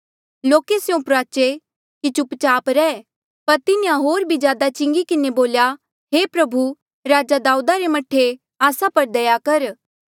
लोके स्यों प्रुआचे कि चुप चाप रह पर से होर भी ज्यादा चिंगी किन्हें बोल्या हे प्रभु राजे दाऊदा रे मह्ठे आस्सा पर दया कर